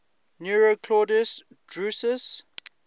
nero claudius drusus